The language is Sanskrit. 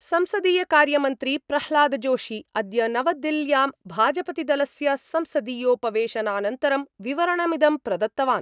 संसदीय कार्यमन्त्री प्रह्लादजोशी अद्य नवदिल्ल्यां भाजपतिदलस्य संसदीयोपवेशनानन्तरं विवरणमिदं प्रदत्तवान्।